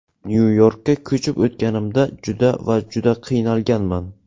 Nyu-Yorkka ko‘chib o‘tganimda juda va juda qiynalganman.